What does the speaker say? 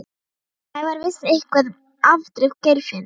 Sævar vissi eitthvað um afdrif Geirfinns.